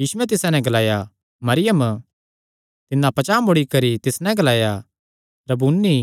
यीशुयैं तिसा नैं ग्लाया मरियम तिन्नै पचांह़ मुड़ी करी तिस नैं ग्लाया रब्बूनी